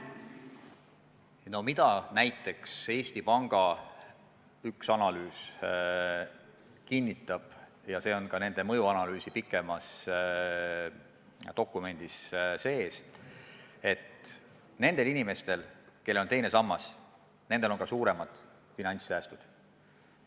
No näiteks üks Eesti Panga analüüs kinnitab – ja see on ka nende mõjuanalüüsi tutvustavas pikemas dokumendis sees –, et nendel inimestel, kellel on teine sammas, on ka suuremad finantssäästud.